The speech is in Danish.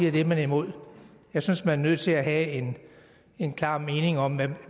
at det er man imod jeg synes man er nødt til at have en klar mening om